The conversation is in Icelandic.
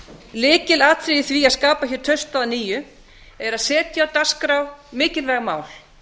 lykilatriði í því að skapa hér traust að nýju er að setja á dagskrá mikilvæg mál